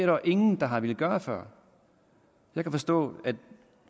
jo ingen der har villet gøre før jeg kan forstå